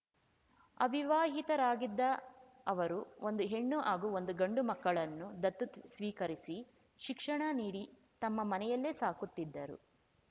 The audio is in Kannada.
ಅವಿವಾಹಿತರಾಗಿದ್ದ ಅವರು ಒಂದು ಹೆಣ್ಣು ಹಾಗೂ ಒಂದು ಗಂಡು ಮಕ್ಕಳನ್ನು ದತ್ತು ಸ್ವೀಕರಿಸಿ ಶಿಕ್ಷಣ ನೀಡಿ ತಮ್ಮ ಮನೆಯಲ್ಲೇ ಸಾಕುತ್ತಿದ್ದರು